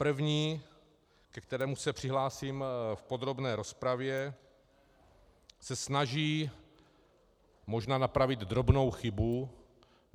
První, ke kterému se přihlásím v podrobné rozpravě, se snaží možná napravit drobnou chybu.